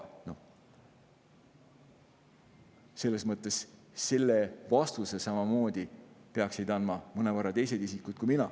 Selles mõttes peaks vastuse sellele andma mõned teised isikud, mitte mina.